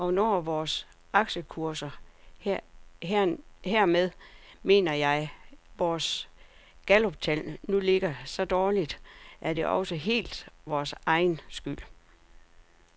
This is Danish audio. Og når vores aktiekurser, hermed mener jeg vores galluptal, nu ligger så dårligt, er det også helt vores egen skyld.